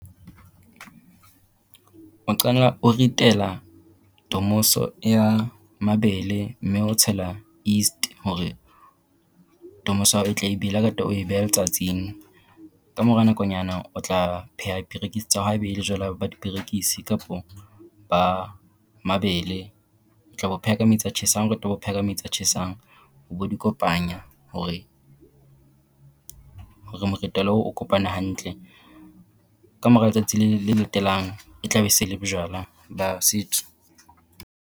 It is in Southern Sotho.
O qala o ritela tomoso ya mabele mme o tshela yeast hore tomoso ya hao e tle e bele ha o qeta o e beha letsatsing. Kamora nakonyana o tla pheha perekisi tsa hao haebe ele jwala ba diperekisi kapa ba mabele, o tla bo pheha metsi a tjhesang, ha o qeta o bo pheha ka metsi a tjhesang o bo di kopanya hore hore moritelo oo o kopane hantle. Kamora letsatsi le latelang e tla be se e le bojwala ba setso.